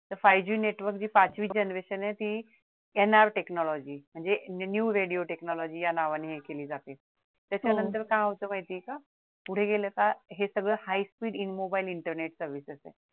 five G network G पाचवी generation आहे ती tenor technology म्हणजे new radio technology या नावाने हे केली जाते त्याच्यानंतर काय होत माहितेय का पुढे गेले तर हे सगळं high speed in mobile Internet service